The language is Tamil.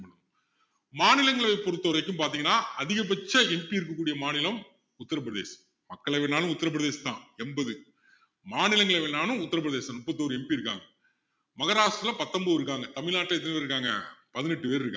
மாநிலங்களவைய பொறுத்த வரைக்கும் பாத்திங்கன்னா அதிகபட்ச MP இருக்க கூடிய மாநிலம் உத்தர பிரதேசம் மக்களவைனாலும் உத்தர பிரதேசம் தான் எண்பது மாநிலங்களவைனாலும் உத்தர பிரதேசம் தான் முப்பத்தி ஒரு MP இருக்காங்க மகாரஷ்டிரத்துல பத்தொன்பது பேர் இருக்காங்க தமிழ்நாட்டுல எத்தனை பேர் இருக்காங்க பதினெட்டு பேர் இருக்காங்க